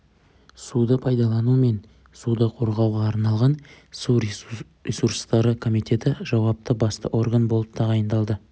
суды пайдалану мен суды қорғауға су ресурстары комитеті жауапты басты орган болып тағайындалды